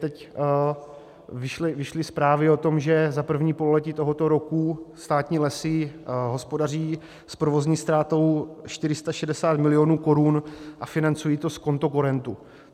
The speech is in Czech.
Teď vyšly zprávy o tom, že za první pololetí tohoto roku státní lesy hospodaří s provozní ztrátou 460 mil. korun a financují to z kontokorentu.